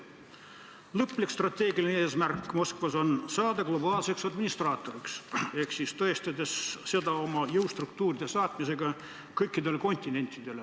Moskva lõplik strateegiline eesmärk on saada globaalseks administraatoriks ja teostada seda oma jõustruktuuride saatmisega kõikidele kontinentidele.